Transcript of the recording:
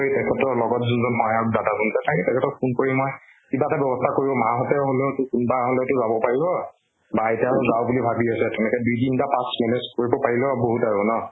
কৰি, তেখেতৰ লগত জোন জন দাদা থাকে, তেখেতক phone কৰি মই, কিবা এটা ব্যৱস্থা কৰিম । মাহঁতে হলেও, কোনোবা হলেও তো যাব পাৰিব । বা আইতা ও যাওঁ বুলি ভাবি আছে, তেনেকে দুই তিনটা pass manage কৰিবপাৰিলেও বহুত আৰু ন ?